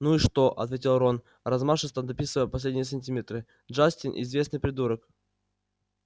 ну и что ответил рон размашисто дописывая последние сантиметры джастин известный придурок